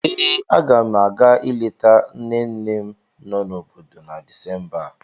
Ee, aga m a ga-ileta nne nne m no n'obodo na Disemba a.